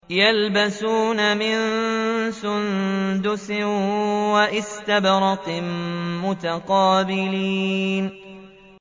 يَلْبَسُونَ مِن سُندُسٍ وَإِسْتَبْرَقٍ مُّتَقَابِلِينَ